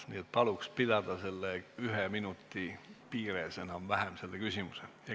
Nii et palun esitada küsimus enam-vähem selle ühe minuti piires.